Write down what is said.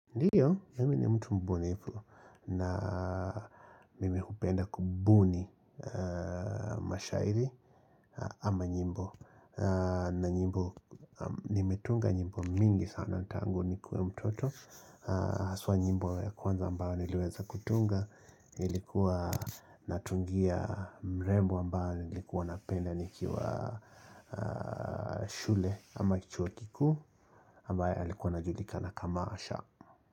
Ndiyo, mimi ni mtu mbunifu na mimi hupenda kubuni mashairi ama nyimbo na nyimbo, nimetunga nyimbo mingi sana tangu nikue mtoto haswa nyimbo ya kwanza ambayo niliweza kutunga Ilikuwa natungia mrembo ambaye nilikuwa napenda nikiwa shule ama chui kikuu ambaye alikuwa anajulika na kama asha.